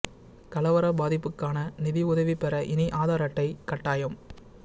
கலவர பாதிப்புக்கான நிதி உதவி பெற இனி ஆதார் அட்டை கட்டாயம்